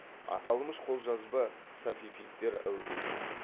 аталмыш қолжазба сафефидтер әулетінің